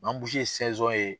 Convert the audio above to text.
ye ye